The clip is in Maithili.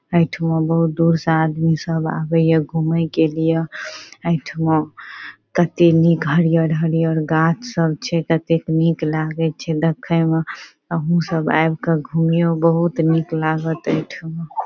एठमा बहुत दूर से आदमी सब आवे या घूमे के लिए एठमा कते नीक हरियर-हरियर गाछ सब छै कतेक निक लागे छै देखे में अहुं सब आब के घूमयो बहुत निक लागत एठमा ।